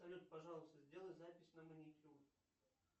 салют пожалуйста сделай запись на маникюр